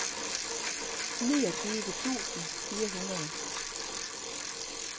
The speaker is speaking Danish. niogtyve tusind fire hundrede